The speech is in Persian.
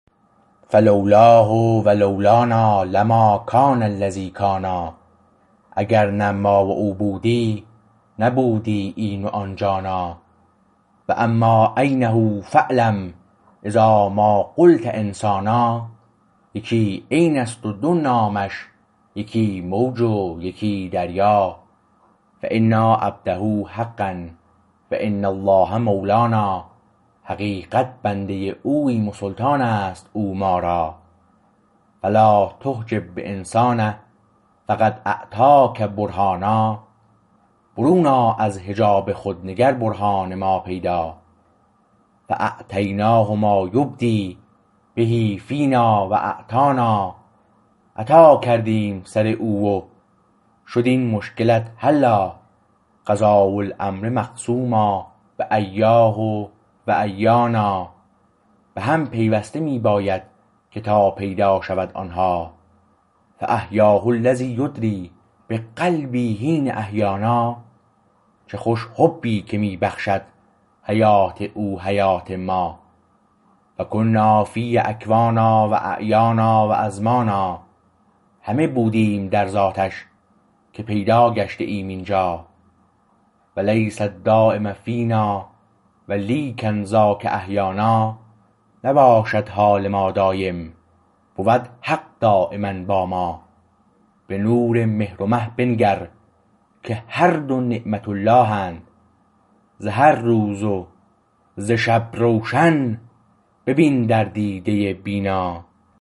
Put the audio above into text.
فلولاه و لولانا لما کان الذی کانا اگر نه ما و او بودی نبودی این و آن جانا و اما عینه فاعلم اذا ما قلت انسانا یکی عین است و دو نامش یکی موج و یکی دریا فانا عبده حقا و ان الله مولانا حقیقت بنده اوییم و سلطان است او ما را فلا تحجب بانسان فقد اعطاک برهانا برون آ از حجاب خود نگر برهان ما پیدا فاعطیناه ما یبدی به فینا و اعطانا عطا کردیم سر او و شداین مشکلت حلا قضا رالامر مقسوما بایاه و ایانا به هم پیوسته می باید که تا پیدا شود آن ها فاحیاه الذی یدری بقلبی حین احیانا چه خوش حبی که می بخشد حیات او حیات ما و کنافیه اکوانا و اعیانا و ازمانا همه بودیم در ذاتش که پیدا گشته ایم اینجا و لیس دایم فینا و لیکن ذاک احیانا نباشد حال ما دایم بود حق دایما با ما به نور مهر و مه بنگر که هر دو نعمت اللهند ز هر روز و ز شب روشن ببین در دیده بینا